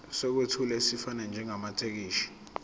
sokwethula esifanele njengamathekisthi